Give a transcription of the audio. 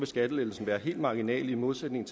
skattelettelsen være helt marginal i modsætning